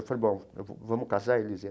Eu falei, bom, vamos casar Elisinha.